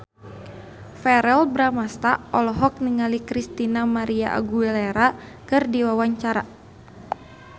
Verrell Bramastra olohok ningali Christina María Aguilera keur diwawancara